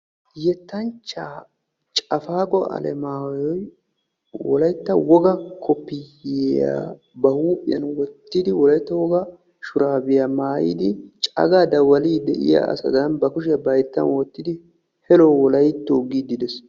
Yettanchchaa cafaaqqo alamaayoy wolaytta wogaa koopiyiyaa ba huuphphiyaan wottidi wolaytta wogaa shuraabiyaa maayidi cagaa dawaliidi diyaa asadan hayttan wottidi helloo wolayttoo giidi de'ees.